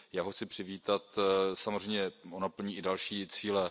Já ho chci přivítat, samozřejmě ono plní i další cíle.